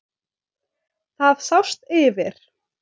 Það sást yfir